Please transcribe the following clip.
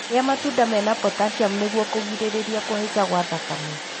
Rĩa matunda mena potaciamu nĩguo kũgirĩrĩria kũhaica gwa thakame.